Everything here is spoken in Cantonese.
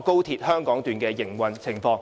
高鐵香港段的營運情況。